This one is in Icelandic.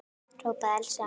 hrópaði Elsa.